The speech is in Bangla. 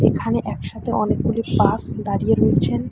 এখানে একসাথে অনেকগুলি বাস দাঁড়িয়ে রয়েছেন।